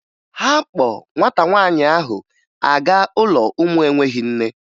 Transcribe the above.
Ha kpọ nwata nwaanyị ahụ aga ụlọ ụmụ enweghi nne